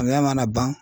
Samiya mana ban